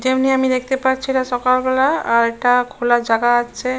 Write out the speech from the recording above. যেমনি আমি দেখতে পাচ্ছি এটা সকালবেলা। আর এটা খোলা জায়গা আছে।